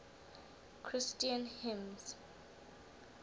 christian hymns